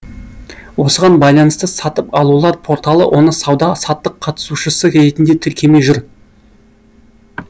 осыған байланысты сатып алулар порталы оны сауда саттық қатысушысы ретінде тіркемей жүр